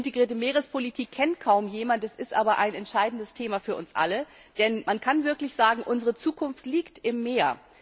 Integrierte Meerespolitik kennt kaum jemand, es ist aber ein entscheidendes Thema für uns alle, denn man kann wirklich sagen, unsere Zukunft liegt im Meer.